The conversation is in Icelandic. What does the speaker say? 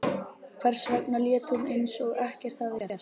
Hvers vegna lét hún eins og ekkert hefði gerst?